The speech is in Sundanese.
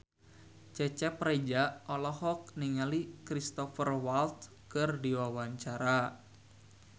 Cecep Reza olohok ningali Cristhoper Waltz keur diwawancara